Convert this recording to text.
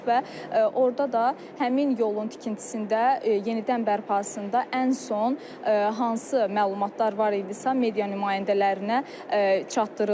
Və orda da həmin yolun tikintisində, yenidən bərpasında ən son hansı məlumatlar var idisə media nümayəndələrinə çatdırıldı.